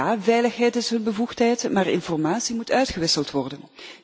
Ja, veiligheid is hun bevoegdheid, maar informatie moet uitgewisseld worden.